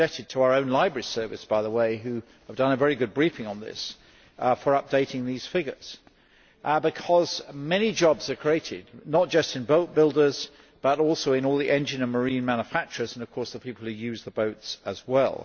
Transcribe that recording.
I am indebted to our own Library Service, by the way, which has done a very good briefing on this in updating these figures, because many jobs are created, not just in boatbuilders, but also in all the engine and marine manufacturers, and of course the people who use the boats as well.